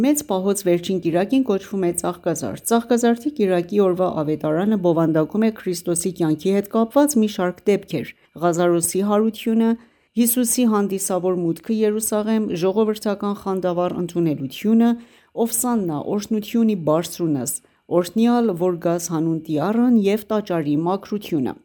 Մեծ պահոց վերջին կիրակին կոչվում է Ծաղկազարդ:Ծաղկազարդի կիրակի օրվա Ավետարանը բովանդակում է Քրիստոսի կյանքի հետ կապված մի շարք դեպքեր՝Ղազարոսի հարությունը, Հիսուսի հանդիսավոր մուտքը Երուսաղեմ, ժողովրդական խանդավառ ընդունելությունը «Ովսաննա»,Օրհնություն ի բարձունս ,օրհնյալ որ գաս հանուն Տյառն և Տաճարի մաքրությունը: